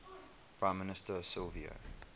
prime minister silvio